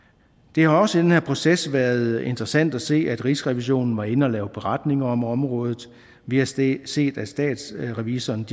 det har også i den her proces været interessant at se at rigsrevisionen var inde at lave en beretning om området vi har set set at statsrevisorerne